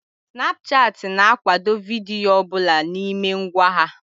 Snapchat ị na akwado vidiyo ọbụla n'ime ngwa ha